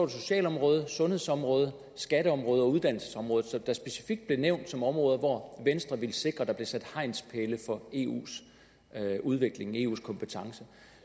socialområdet sundhedsområdet skatteområdet og uddannelsesområdet som specifikt blev nævnt som områder hvor venstre ville sikre der blev sat hegnspæle for eus udvikling eus kompetencer